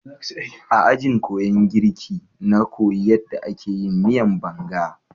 A ajin kuyan girka na koyi yadda ake yin miyan Banga.